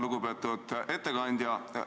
Lugupeetud ettekandja!